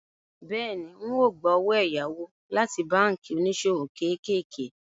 Bẹ́ẹ̀ni, ń ó gbà owó ẹ̀yáwó láti báànkì oníṣòwò kéékèèké